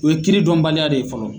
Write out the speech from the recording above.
U ye kiiridɔnbaliya de ye fɔlɔ